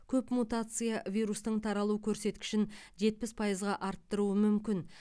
көп мутация вирустың таралу көрсеткішін жетпіс пайызға арттыруы мүмкін